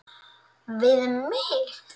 Við mig.